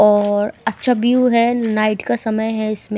और अच्छा व्यू है नाइट का समय है इसमें।